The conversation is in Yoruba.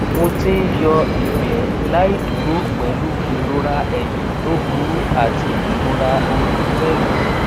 mo ti ń yọ ìgbẹ láì dúró pẹlú ìrora ẹyìn tó burú àti ìrora orí pẹlú